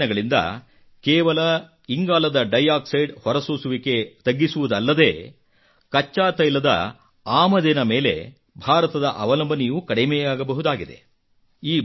ಈ ಪ್ರಯತ್ನಗಳಿಂದ ಕೇವಲ ಇಂಗಾಲದ ಡೈ ಆಕ್ಸೈಡ್ ಹೊರಸೂಸುವಿಕೆ ತಗ್ಗಿಸುವುದಲ್ಲದೇ ಕಚ್ಚಾ ತೈಲದ ಆಮದಿನ ಮೇಲೆ ಭಾರತದ ಅವಲಂಬನೆಯೂ ಕಡಿಮೆಯಾಗಬಹುದಾಗಿದೆ